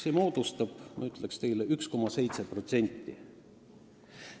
See moodustab, ma ütleks, 1,7%.